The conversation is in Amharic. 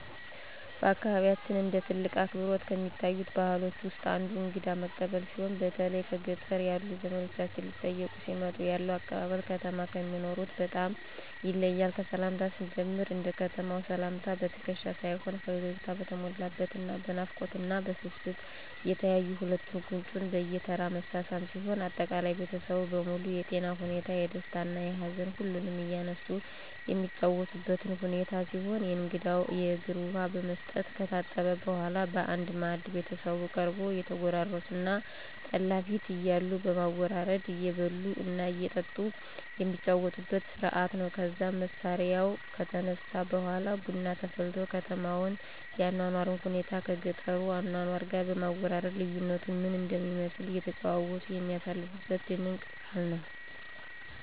በአካባቢያችን እንደ ትልቅ አክብሮት ከሚታዩት ባህሎች ውስጥ አንዱ እንግዳ መቀበል ሲሆን በተለይ በገጠር ያሉ ዘመዶቻችን ሊጠይቁን ሲመጡ ያለው አቀባበል ከተማ ከሚኖሩት በጣም ይለያል። ከሰላምታው ስንጀምር እንደ ከተማው ሰላምታ በትክሻ ሳይሆን ፈገግታ በተሞላበት እና በናፍቆት እና በስስት እየተያዩ ሁለቱን ጉንጭ በየተራ መሳሳም ሲሆን አጠቃላይ ቤተሰቡ በሙሉ የጤና ሁኔታ፣ የደስታ እና ሀዘን ሁሉንም እያነሱ የሚጨዋወቱበት ሁኔታ ሲሆን ለእንግዳው የእግር ውሃ በመስጠት ከታጠበ በኃላ በአንድ ማዕድ ቤተሰቡ ቀርቦ እየተጎራረሱ እና ጠላ ፉት እያሉ በማወራረድ እየበሉ እና እየጠጡ የሚጫወቱበት ስርአት ነው። ከዛም መስሪያው ከተነሳ በኃላ ቡና ተፈልቶ የከተማውን የአኗኗር ሁኔታን ከገጠሩ አኗኗር ጋር በማወዳደር ልዩነቱ ምን እንደሚመስል እየተጨዋወቱ የሚያሳልፉበት ድንቅ ባህል ነው።